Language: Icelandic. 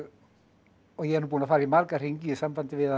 ég er nú búinn að fara í marga hringi í sambandi við að